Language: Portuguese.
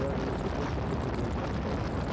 Depois de completar dois anos, saí de lá, né.